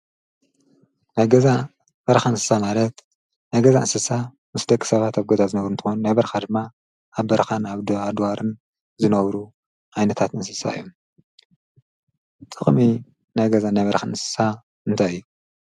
ነገዛ በርኻ ንስሳ ማለት ነገዛ ንስሳ ምስ ደክ ሰባት ኣብገዛ ዝነብሩ እንተኾን ናይበርካ ድማ ኣብ በርኻን ኣብ ዶኣድዋርን ዝነብሩ ኣይነታት ንሲሳ እዮ ጥቕሚ ነገዛ ናይበርኻን ንስሳ እንተይእዩ።